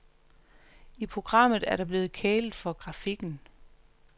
I programmet er der blevet kælet for grafikken.